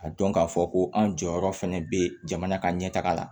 A dɔn k'a fɔ ko an jɔyɔrɔ fana bɛ jamana ka ɲɛ taga la